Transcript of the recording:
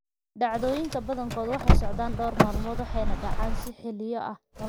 Dhacdooyinka badankood waxay socdaan dhowr maalmood waxayna dhacaan si xilliyo ah nolosha oo dhan.